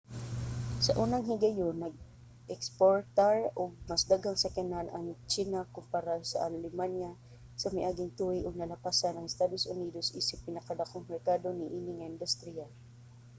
sa unang higayon nag-eksportar og mas daghang sakyanan ang tsina kompara sa alemanya sa miaging tuig ug nalapasan ang estados unidos isip pinakadakong merkado niini nga industriya